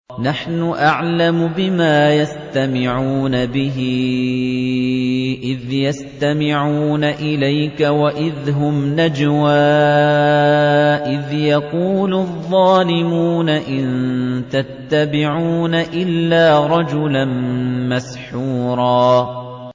نَّحْنُ أَعْلَمُ بِمَا يَسْتَمِعُونَ بِهِ إِذْ يَسْتَمِعُونَ إِلَيْكَ وَإِذْ هُمْ نَجْوَىٰ إِذْ يَقُولُ الظَّالِمُونَ إِن تَتَّبِعُونَ إِلَّا رَجُلًا مَّسْحُورًا